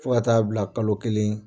Fo ka taa bila kalo kelen